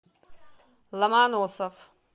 ломоносов